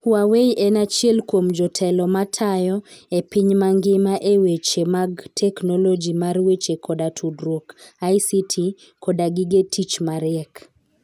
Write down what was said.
Huawei en achiel kuom jotelo matayo e piny mangima e weche mag teknoloji mar weche koda tudruok (ICT) koda gige tich mariek.